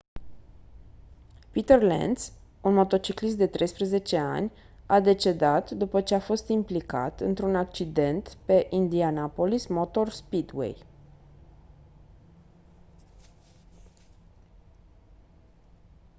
peter lenz un motociclist de 13 ani a decedat după ce a fost implicat într-un accident pe indianapolis motor speedway